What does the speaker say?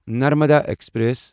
Narmada express